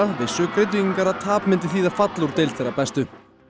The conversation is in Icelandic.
vissu Grindvíkingar að tap myndi þýða fall úr deild þeirra bestu